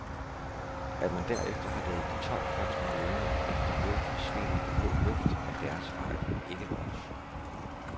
At man derefter har ladet de tolv første måneder efter nul forsvinde i den blå luft er deres fejl, ikke vores.